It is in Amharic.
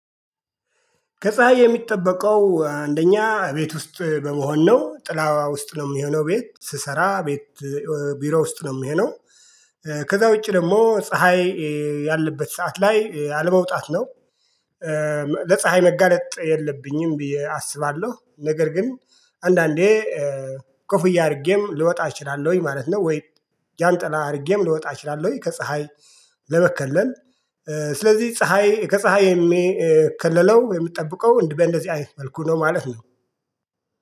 ከፀሀይ የምጠበቀው አንደኛ እቤት ውስጥ በመሆን ነው ጥላ ውስጥ ነው የሚሆነው ቤት ስሰራ ቤት ብሮ ውስጥ ነው የሚሆነው ከዛ ውጭ ደግሞ ፀሀይ ያለበት ሰዓት ላይ አለመውጣት ነው። ለፀሀይ መጋለጥ የለብኝም ብዬ አስባለሁ ነገር ግን አንዳንዴ ኮፍያ አርገም ልወጣ እችላለሁኝ ማለት ነው ወይ ጃንጥላ አድርገም ልወጣ እችላለሁ ወይ ከፀሀይ ለመከለል ስለዚህ ፀሀይ ከፀሀይ የሚከለለው የሚጠብቀው በእንደዚህ አይነት መልኩ ነው ማለት ነው።